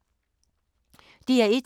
DR1